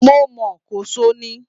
Mo mọ̀ ọ́n, Kòso ni